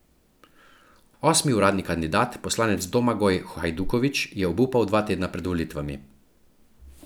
Osmi uradni kandidat, poslanec Domagoj Hajduković, je obupal dva tedna pred volitvami.